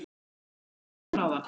Hvað með tímann áður?